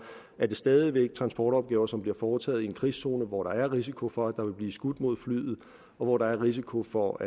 er det stadig væk transportopgaver som bliver foretaget i en krigszone hvor der er risiko for at der vil blive skudt mod flyet og hvor der er risiko for